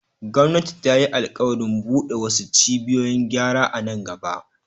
Gwamnati ta yi alƙawarin bude wasu cibiyoyin gyara a nan gaba.